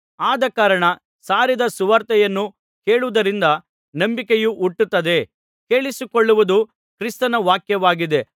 ಆದಕಾರಣ ಸಾರಿದ ಸುವಾರ್ತೆಯನ್ನು ಕೇಳುವುದರಿಂದ ನಂಬಿಕೆಯು ಹುಟ್ಟುತ್ತದೆ ಕೇಳಿಸಿಕೊಳ್ಳುವುದು ಕ್ರಿಸ್ತನ ವಾಕ್ಯವಾಗಿದೆ